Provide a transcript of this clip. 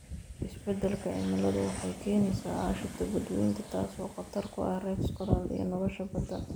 Isbeddelka cimiladu waxay keenaysaa aashito badweynta, taas oo khatar ku ah reefs coral iyo nolosha badda.